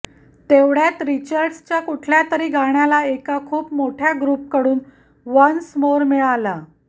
तेवढ्यात रिचर्डच्या कुठल्यातरी गाण्याला एका खूप मोठ्या ग्रुप कडून वन्स मोर मिळाला